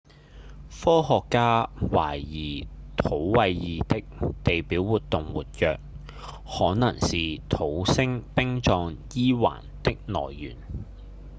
科學家懷疑土衛二的地表活動活躍可能是土星冰狀 e 環的來源